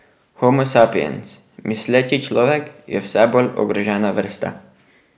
Homo sapiens, misleči človek, je vse bolj ogrožena vrsta.